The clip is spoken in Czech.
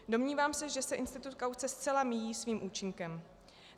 Domnívám se, že se institut kauce zcela míjí svým účinkem.